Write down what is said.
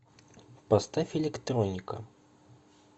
поставь электроника